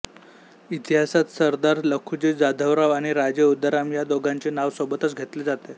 इतिहासात सरदार लखुजी जाधवराव आणि राजे उदाराम या दोघांचे नाव सोबतच घेतले जाते